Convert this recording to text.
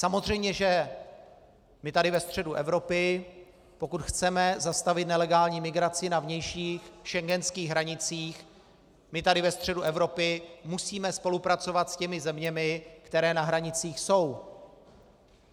Samozřejmě že my tady ve středu Evropy, pokud chceme zastavit nelegální migraci na vnějších schengenských hranicích, my tady ve středu Evropy musíme spolupracovat s těmi zeměmi, které na hranicích jsou.